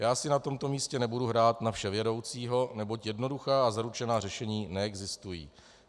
Já si na tomto místě nebudu hrát na vševědoucího, neboť jednoduchá a zaručená řešení neexistují.